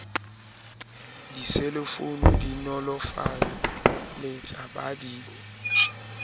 diselefounu di nolofaletsa ba di